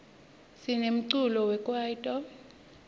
sinemculo wekwaito